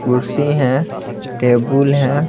कुर्सी हैं टेबुल हैं।